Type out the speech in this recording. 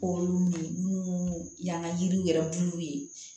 Ko minnu y'an ka yiriw yɛrɛ bulu ye